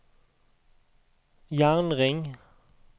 jernring